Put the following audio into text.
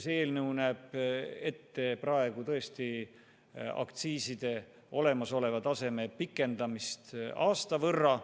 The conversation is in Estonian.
See eelnõu näeb praegu tõesti ette aktsiiside praeguse taseme pikendamist aasta võrra.